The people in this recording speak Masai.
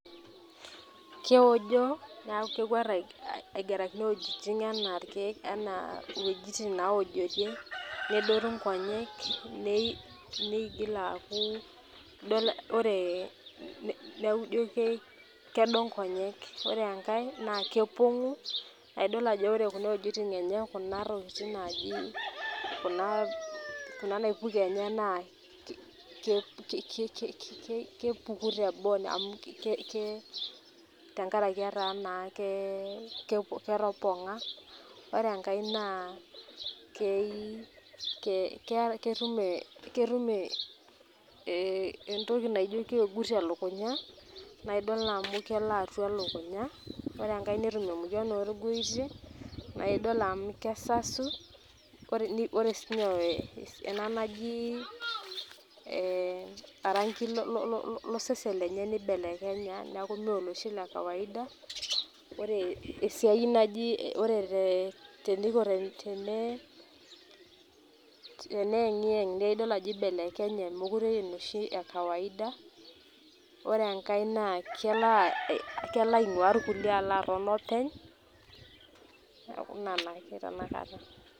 Kewojo neaku kekwet aigarakino ewuejitin enaa irkiek, enaa uweujitin nawojorie, nedoru inkonyek, neigil aaku idol ore neaku ijio kedo ng'onyek ore engae naa kepong'u nidol ajo ore Kuna tokitin enye, Kuna tokitin naaji Kuna naipuko enye naa ki ki kii kipuki teboo amu Ke ke kee tengaraki etaa naa kee kepong'a ore enkangae naa kei ketum ee ketum ee entoki naijio keegut elukunya naa idol amu kelo atwa elukunya ore engae netum emoyian oorgoitie naidol amu kesasu ore siinye ena naji ee orang'i lo lo sesen lenye neibelekenya neaku Mee oloshi lekawaida ore esiai naji ore tee teneiko tenee tene yeng'iyeng' naa idol ajo ibelekenye meekure enoshi ekawaida ore enkae naa kelo aing'ua irkulie alo aton openy' neaku Ina naake tanakata.